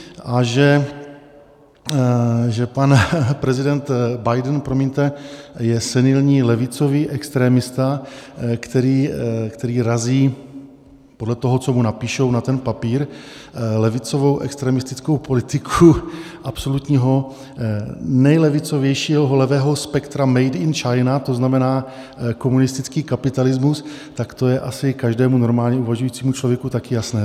A že pan prezident Biden, promiňte, je senilní levicový extremista, který razí podle toho, co mu napíšou na ten papír, levicovou extremistickou politiku absolutního nejlevicovějšího levého spektra made in China, to znamená komunistický kapitalismu, tak to je asi každému normálně uvažujícímu člověk taky jasné.